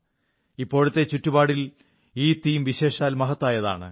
ഇപ്പോഴത്തെ ചുറ്റുപാടിൽ ഈ തീം വിശേഷാൽ മഹത്തായതാണ്